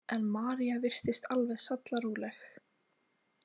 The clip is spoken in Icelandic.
En María virtist alveg sallaróleg.